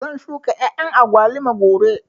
Zan shuka ƴaƴan agwaluma gobe